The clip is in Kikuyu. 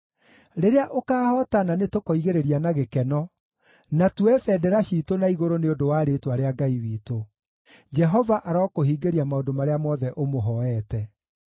Rĩrĩa ũkaahootana nĩtũkoigĩrĩria na gĩkeno, na tuoye bendera ciitũ na igũrũ nĩ ũndũ wa rĩĩtwa rĩa Ngai witũ. Jehova arokũhingĩria maũndũ marĩa mothe ũmũhooete.